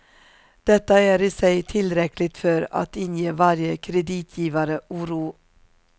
Detta är i sig tillräckligt för att inge varje kreditgivare oro.